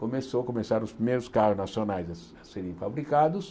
Começou começaram os primeiros carros nacionais a se a serem fabricados.